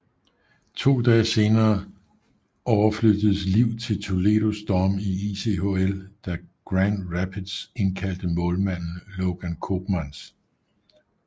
To dage senere overflyttedes Liv til Toledo Storm i ECHL da Grand Rapids indkaldte målmanden Logan Koopmans